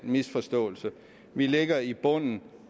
misforståelse vi ligger i bunden